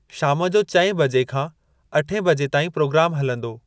शाम जो चएं बजे खां अठे बजे ताईं प्रोग्राम हलंदो।